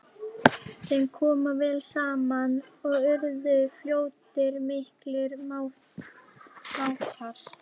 Þeim kom vel saman og urðu fljótt miklir mátar.